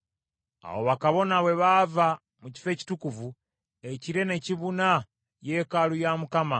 Awo bakabona bwe baava mu kifo ekitukuvu, ekire ne kibuna yeekaalu ya Mukama ,